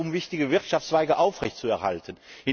Es geht darum, wichtige Wirtschaftszweige aufrechtzuerhalten.